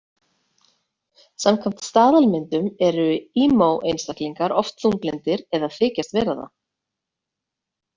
Samkvæmt staðalmyndum eru emo-einstaklingar oft þunglyndir eða þykjast vera það.